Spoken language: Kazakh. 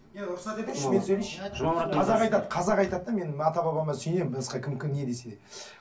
қазақ айтады қазақ айтады да мен ата бабама сүйенемін басқа кім кім не десе де